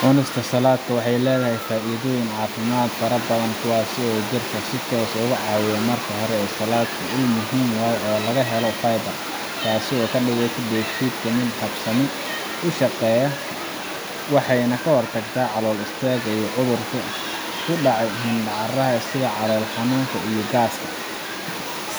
Cunista salaadka waxey leedahy faaidooyin caafimak fara badhan kuwaasi oo dadka si toos ugucaawiya marka hore salaadka uu muhiim uyahy fiber taasi oo kadigeysa geed shidka mid habsami ushaqeya . Waxeyna kahorta calool istaaga iyo cudhurku kudacaya xubincaraaya sidha calool xanuunka iyo gaaska.